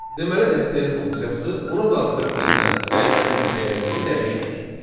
Deməli, STR funksiyası ona daxil edilən dəyişənin dəyərini dəyişmir.